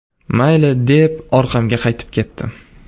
Mayli, deb orqamga qaytib ketdim.